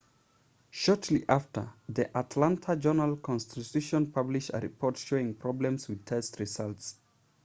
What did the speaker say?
shortly after the atlanta journal-constitution published a report showing problems with test results